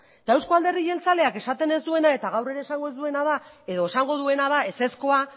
eta euzko alderdi jeltzaleak esaten ez duena eta gaur ere esango ez duena da edo esango duena da ezezkoa